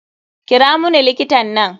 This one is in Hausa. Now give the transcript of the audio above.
Kira muni likitan nan.